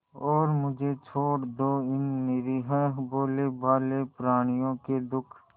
और मुझे छोड़ दो इन निरीह भोलेभाले प्रणियों के दुख